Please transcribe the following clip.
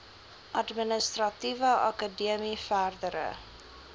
administratiewe akademie verdere